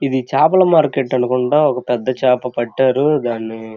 ఇది చాపల మార్కెట్ అనుకుంటా ఒక పెద్ద చేప పట్టారు దాన్ని.